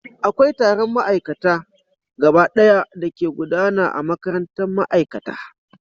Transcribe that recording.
Akwai taron ma'aikata gabaɗaya da ke gudana a makarantar ma'aikata